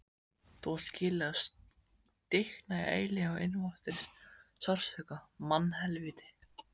Þú átt skilið að stikna í eilífum innvortis sársauka, mannhelvíti.